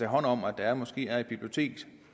hånd om at der måske er et bibliotek